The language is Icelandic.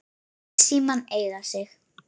Læt símann eiga sig.